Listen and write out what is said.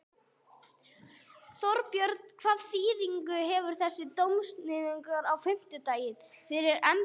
Þorbjörn: Hvaða þýðingu hefur þessi dómsniðurstaða á fimmtudag fyrir embættið?